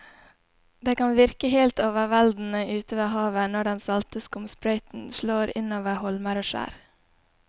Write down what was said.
Det kan virke helt overveldende ute ved havet når den salte skumsprøyten slår innover holmer og skjær.